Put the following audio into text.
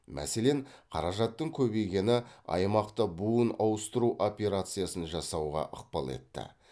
мәселен қаражаттың көбейгені аймақта буын ауыстыру операциясын жасауға ықпал етті